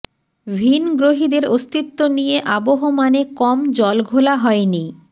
ভিনগ্রহীদের অস্তিত্ব নিয়ে আবহমানে কম জল ঘোলা হয়নি